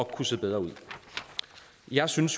kunne se bedre ud jeg synes